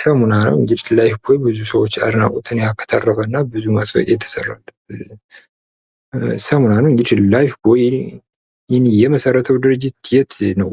ሳሙና ነው። እንግዲህ ላይፍቦይ ብዙ ሰዎች አድናቆትን ያበረከተ እና ብዙ ማስታውቂያ የተሰራበት ሳሙና ነው እንግዲህ ላይፍቦይ የመሰረተው ድርጅት ከየት ነው?